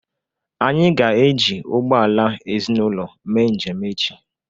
Anyị ga eji ụgbọala ezinaụlọ mee njem echi